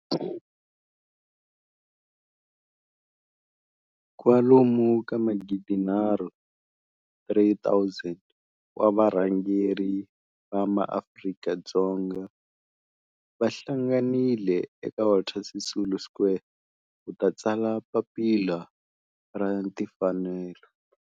Kwalomu ka magidi nharhu, 3 000, wa varhangeri va maAfrika-Dzonga va hlanganile eka Walter Sisulu Square ku ta tsala Papila ra Timfanelo.